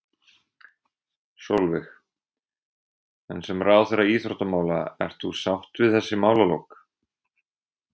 Sólveig: En sem ráðherra íþróttamála, ert þú sátt við þessi málalok?